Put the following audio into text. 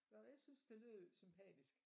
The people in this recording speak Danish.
Så jeg synes det lød sympatisk